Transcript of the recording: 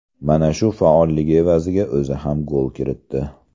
Mana shu faolligi evaziga o‘zi ham gol kiritdi.